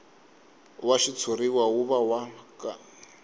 wa xitshuriwa wu va wa